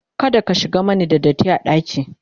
kada ka shigan Mani da datti ɗaki!